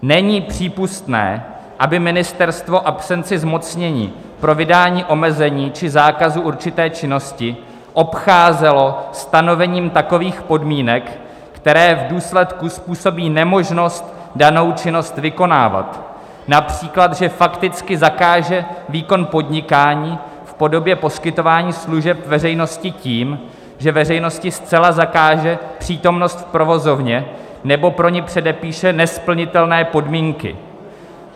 Není přípustné, aby ministerstvo absenci zmocnění pro vydání omezení či zákazu určité činnosti obcházelo stanovením takových podmínek, které v důsledku způsobí nemožnost danou činnost vykonávat, například že fakticky zakáže výkon podnikání v podobě poskytování služeb veřejnosti tím, že veřejnosti zcela zakáže přítomnost v provozovně, nebo pro ni předepíše nesplnitelné podmínky."